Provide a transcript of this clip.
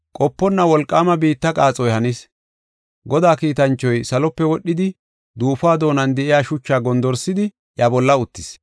Qoponna wolqaama biitta qaaxoy hanis. Godaa kiitanchoy salope wodhidi duufuwa doonan de7iya shuchaa gondorsidi iya bolla uttis.